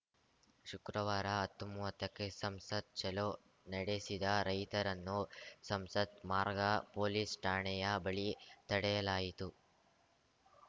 ಶುಕ್ರವಾರ ಹತ್ತುಮೂವತ್ತಕ್ಕೆ ಸಂಸತ್‌ ಚಲೋ ನಡೆಸಿದ ರೈತರನ್ನು ಸಂಸತ್‌ ಮಾರ್ಗ ಪೊಲೀಸ್‌ ಠಾಣೆಯ ಬಳಿ ತಡೆಯಲಾಯಿತು